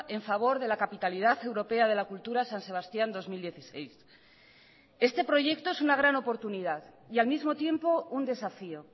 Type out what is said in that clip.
en favor de la capitalidad europea de la cultura san sebastián dos mil dieciséis este proyecto es una gran oportunidad y al mismo tiempo un desafío